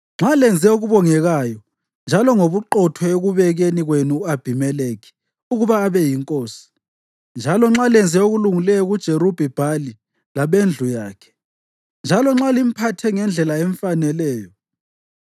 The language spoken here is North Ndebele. Nxa lenze okubongekayo njalo ngobuqotho ekubekeni kwenu u-Abhimelekhi ukuba abe yinkosi, njalo nxa lenze okulungileyo kuJerubhi-Bhali labendlu yakhe, njalo nxa limphathe ngendlela emfaneleyo,